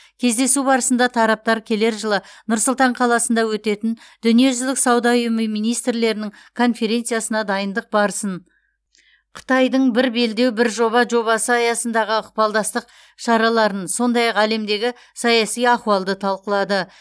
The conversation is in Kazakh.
кездесу барысында тараптар келер жылы нұр сұлтан қаласында өтетін дүниежүзілік сауда ұйымы министрлерінің конференциясына дайындық барысын қытайдың бір белдеу бір жоба жобасы аясындағы ықпалдастық шараларын сондай ақ әлемдегі саяси ахуалды талқылады